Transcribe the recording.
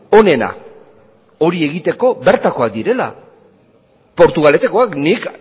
onena hori egiteko bertakoak direla portugaletekoak nik